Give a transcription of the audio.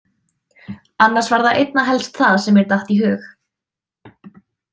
Annars var það einna helst það sem mér datt í hug.